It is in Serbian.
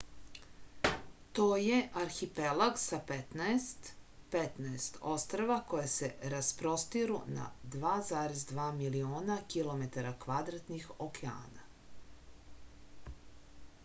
то је архипелаг са петнаест 15 острва која се распростиру на 2,2 милиона km2 океана